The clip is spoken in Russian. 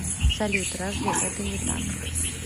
салют разве это не так